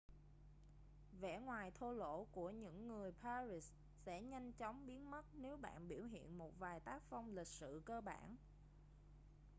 vẻ ngoài thô lỗ của những người paris sẽ nhanh chóng biến mất nếu bạn biểu hiện một vài tác phong lịch sự cơ bản